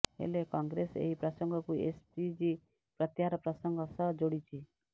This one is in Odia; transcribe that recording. ହେଲେ କଂଗ୍ରେସ ଏହି ପ୍ରସଙ୍ଗକୁ ଏସପିଜି ପ୍ରତ୍ୟାହାର ପ୍ରସଙ୍ଗ ସହ ଯୋଡିଛି